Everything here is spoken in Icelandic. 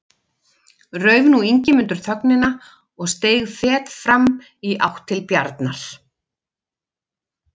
Rauf nú Ingimundur þögnina og steig fet fram í átt til Bjarnar.